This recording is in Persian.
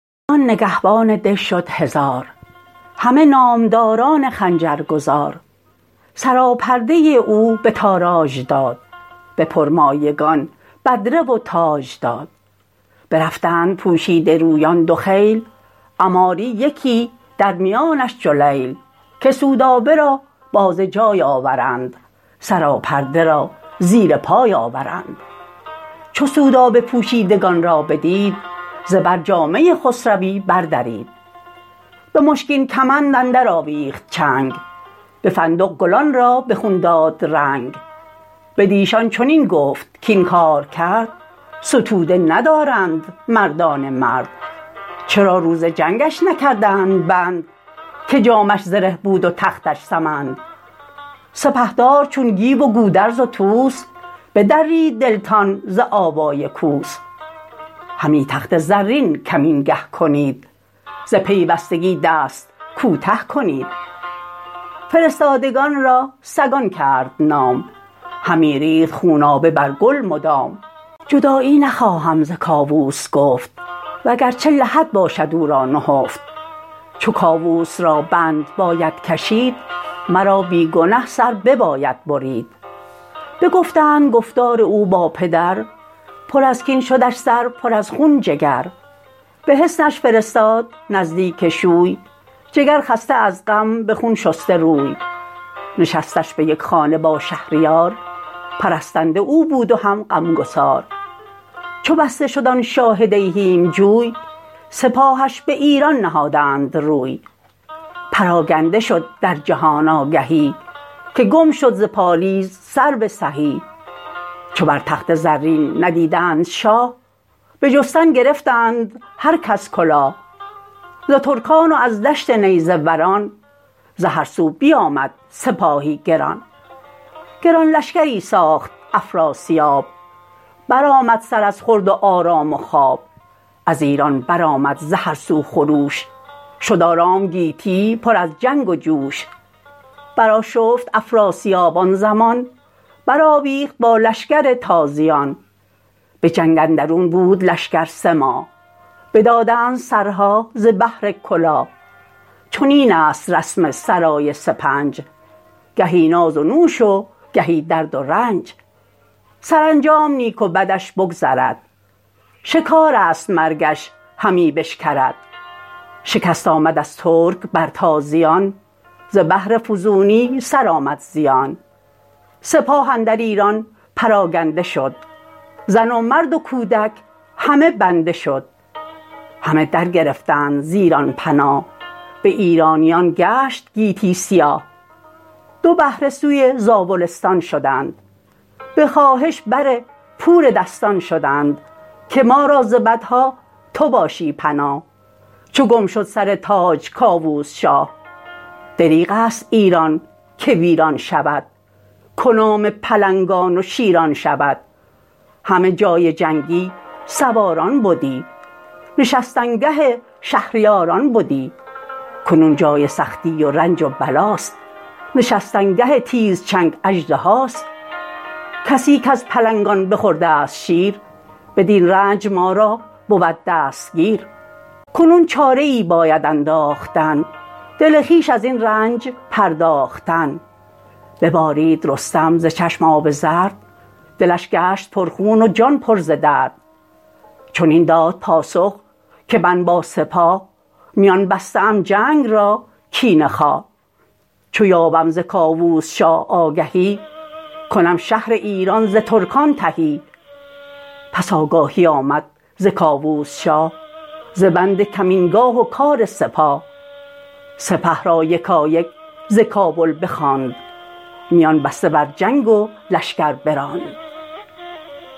غمی بد دل شاه هاماوران ز هرگونه ای چاره جست اندران چو یک هفته بگذشت هشتم پگاه فرستاده آمد به نزدیک شاه که گر شاه بیند که مهمان خویش بیاید خرامان به ایوان خویش شود شهر هاماوران ارجمند چو بینند رخشنده گاه بلند بدین گونه با او همی چاره جست نهان بند او بود رایش درست مگر شهر و دختر بماند بدوی نباشدش بر سر یکی باژجوی بدانست سودابه رای پدر که با سور پرخاش دارد به سر به کاووس کی گفت کاین رای نیست ترا خود به هاماوران جای نیست ترا بی بهانه به چنگ آورند نباید که با سور جنگ آورند ز بهر منست این همه گفت وگوی ترا زین شدن انده آید به روی ز سودابه گفتار باور نکرد نیامدش زیشان کسی را بمرد بشد با دلیران و کندآوران به مهمانی شاه هاماوران یکی شهر بد شاه را شاهه نام همه از در جشن و سور و خرام بدان شهر بودش سرای و نشست همه شهر سرتاسر آذین ببست چو در شاهه شد شاه گردن فراز همه شهر بردند پیشش نماز همه گوهر و زعفران ریختند به دینار و عنبر برآمیختند به شهر اندر آوای رود و سرود به هم برکشیدند چون تار و پود چو دیدش سپهدار هاماوران پیاده شدش پیش با مهتران ز ایوان سالار تا پیش در همه در و یاقوت بارید و زر به زرین طبق ها فروریختند به سر مشک و عنبر همی بیختند به کاخ اندرون تخت زرین نهاد نشست از بر تخت کاووس شاد همی بود یک هفته با می به دست خوش و خرم آمدش جای نشست شب و روز بر پیش چون کهتران میان بسته بد شاه هاماوران ببسته همه لشکرش را میان پرستنده بر پیش ایرانیان بدین گونه تا یکسر ایمن شدند ز چون و چرا و نهیب و گزند همه گفته بودند و آراسته سگالیده از جای برخاسته ز بربر برین گونه آگه شدند سگالش چنین بود همره شدند شبی بانگ بوق آمد و تاختن کسی را نبد آرزو ساختن ز بربرستان چون بیامد سپاه به هاماوران شاددل گشت شاه گرفتند ناگاه کاووس را چو گودرز و چون گیو و چون طوس را چو گوید درین مردم پیش بین چه دانی تو ای کاردان اندرین چو پیوسته خون نباشد کسی نباید برو بودن ایمن بسی بود نیز پیوسته خونی که مهر ببرد ز تو تا بگرددت چهر چو مهر کسی را بخواهی ستود بباید به سود و زیان آزمود پسر گر به جاه از تو برتر شود هم از رشک مهر تو لاغر شود چنین است گیهان ناپاک رای به هر باد خیره بجنبد ز جای چو کاووس بر خیرگی بسته شد به هاماوران رای پیوسته شد یکی کوه بودش سر اندر سحاب برآورده ایزد از قعر آب یکی دژ برآورده از کوهسار تو گفتی سپهرستش اندر کنار بدان دژ فرستاد کاووس را همان گیو و گودرز و هم طوس را همان مهتران دگر را به بند ابا شاه کاووس در دژ فگند ز گردان نگهبان دژ شد هزار همه نامداران خنجر گذار سراپرده او به تاراج داد به پرمایگان بدره و تاج داد برفتند پوشیده رویان دو خیل عماری یکی درمیانش جلیل که سودابه را باز جای آورند سراپرده را زیر پای آورند چو سودابه پوشیدگان را بدید ز بر جامه خسروی بردرید به مشکین کمند اندرآویخت چنگ به فندق گلان را به خون داد رنگ بدیشان چنین گفت کاین کارکرد ستوده ندارند مردان مرد چرا روز جنگش نکردند بند که جامه اش زره بود و تختش سمند سپهدار چون گیو و گودرز و طوس بدرید دلتان ز آوای کوس همی تخت زرین کمینگه کنید ز پیوستگی دست کوته کنید فرستادگان را سگان کرد نام همی ریخت خونابه بر گل مدام جدایی نخواهم ز کاووس گفت وگرچه لحد باشد او را نهفت چو کاووس را بند باید کشید مرا بی گنه سر بباید برید بگفتند گفتار او با پدر پر از کین شدش سر پر از خون جگر به حصنش فرستاد نزدیک شوی جگر خسته از غم به خون شسته روی نشستن به یک خانه با شهریار پرستنده او بود و هم غمگسار چو بسته شد آن شاه دیهیم جوی سپاهش به ایران نهادند روی پراگنده شد در جهان آگهی که گم شد ز پالیز سرو سهی چو بر تخت زرین ندیدند شاه بجستن گرفتند هر کس کلاه ز ترکان و از دشت نیزه وران ز هر سو بیامد سپاهی گران گران لشکری ساخت افراسیاب برآمد سر از خورد و آرام و خواب از ایران برآمد ز هر سو خروش شد آرام گیتی پر از جنگ وجوش برآشفت افراسیاب آن زمان برآویخت با لشکر تازیان به جنگ اندرون بود لشکر سه ماه بدادند سرها ز بهر کلاه چنین است رسم سرای سپنج گهی ناز و نوش و گهی درد و رنج سرانجام نیک و بدش بگذرد شکارست مرگش همی بشکرد شکست آمد از ترک بر تازیان ز بهر فزونی سرآمد زیان سپاه اندر ایران پراگنده شد زن و مرد و کودک همه بنده شد همه در گرفتند ز ایران پناه به ایرانیان گشت گیتی سیاه دو بهره سوی زاولستان شدند به خواهش بر پور دستان شدند که ما را ز بدها تو باشی پناه چو گم شد سر تاج کاووس شاه دریغ ست ایران که ویران شود کنام پلنگان و شیران شود همه جای جنگی سواران بدی نشستنگه شهریاران بدی کنون جای سختی و رنج و بلاست نشستنگه تیزچنگ اژدهاست کسی کز پلنگان بخوردست شیر بدین رنج ما را بود دستگیر کنون چاره ای باید انداختن دل خویش ازین رنج پرداختن ببارید رستم ز چشم آب زرد دلش گشت پرخون و جان پر ز درد چنین داد پاسخ که من با سپاه میان بسته ام جنگ را کینه خواه چو یابم ز کاووس شاه آگهی کنم شهر ایران ز ترکان تهی پس آگاهی آمد ز کاووس شاه ز بند کمین گاه و کار سپاه سپه را یکایک ز کابل بخواند میان بسته بر جنگ و لشکر براند